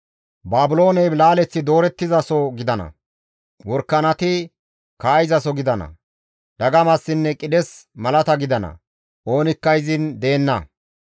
Baabilooney laaleththi doorettizaso gidana; worakanati kaa7izaso gidana; dagamassinne qidhes malata gidana; oonikka izin deenna.